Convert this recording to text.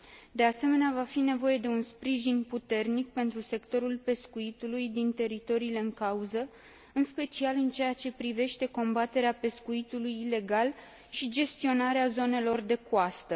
De asemenea, va fi nevoie de un sprijin puternic pentru sectorul pescuitului din teritoriile în cauză, în special în ceea ce privește combaterea pescuitului ilegal și gestionarea zonelor de coastă.